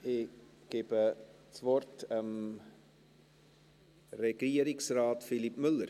Ich gebe das Wort Regierungsrat Philippe Müller.